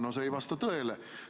No see ei vasta tõele.